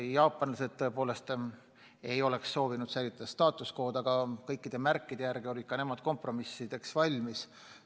Jaapanlased ei oleks soovinud säilitada status quo'd, aga kõikide märkide järgi olid nad kompromissideks valmis.